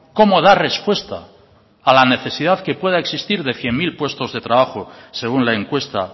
cómo dar respuesta a la necesidad que pueda existir de cien mil puestos de trabajo según la encuesta